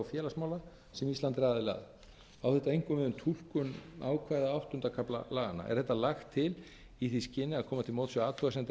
félagsmála sem ísland er aðili að á þetta einkum við um túlkun ákvæða áttunda kafla laganna er þetta lagt til í því skyni að koma til móts við athugasemdir